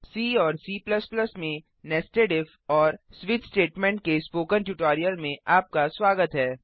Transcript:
सी और C में nested if और स्विच स्टेटमेंट के स्पोकन ट्यूटोरियल में आपका स्वागत है